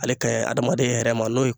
Ale ka ɲi hadamaden yɛrɛ ma n'o ye